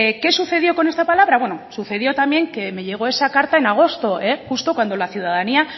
qué sucedió con esta palabra bueno sucedió también que me llegó esa carta en agosto justo cuando la ciudadanía